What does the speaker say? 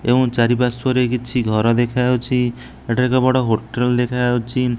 ଏବଂ ଚାରିପାର୍ଶ୍ୱରେ କିଛି ଘର ଦେଖାଯାଉଛି ଏଠାରେ ଏକ ବଡ଼ ହୋଟେଲ ଦେଖାଯାଉଛି।